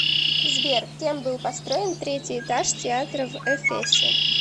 сбер кем был построен третий этаж театра в эфесе